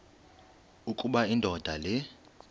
ukuba indoda le